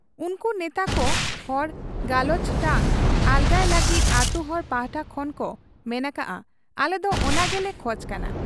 ᱩᱱᱠᱩ ᱱᱮᱛᱟᱠᱚ ᱦᱚᱲ ᱜᱟᱟᱞᱚᱪ ᱴᱟᱝ ᱟᱞᱜᱟᱭ ᱞᱟᱹᱜᱤᱫ ᱟᱹᱛᱩᱦᱚᱲ ᱯᱟᱦᱴᱟ ᱠᱷᱚᱱ ᱠᱚ ᱢᱮᱱ ᱟᱠᱟᱜ ᱟ ᱟᱞᱮᱫᱚ ᱚᱱᱟ ᱜᱮᱞᱮ ᱠᱷᱚᱡᱽ ᱠᱟᱱᱟ ᱾